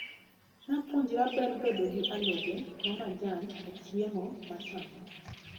Napuonjra ber bedo gi alode ma majan e chiemo machamo.